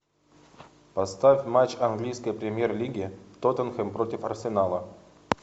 поставь матч английской премьер лиги тоттенхэм против арсенала